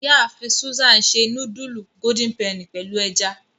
Iyaafin Susan se nudulu Golden Penny pẹlu ẹja.